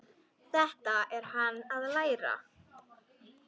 Þetta er hann að læra!